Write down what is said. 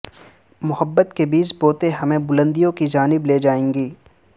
محبت کے بیج بوتے ہمیں بلندیوں کی جانب لیجائیں گے